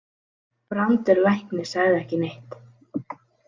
Brandur læknir sagði ekki neitt.